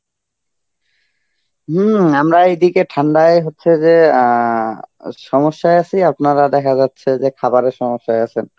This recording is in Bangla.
হম, আমরা এইদিকে ঠান্ডায় হচ্ছে যে অ্যাঁ সমস্যা আছি, আপনারা দেখা যাচ্ছে যে খাবারের সমস্যায় আছেন.